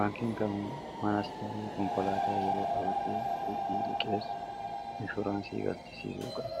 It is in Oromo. baankiin kamuu manasta'ee konkolaataa yeroo qabadii idii liqeessu inshuraansii galchisii suu qabe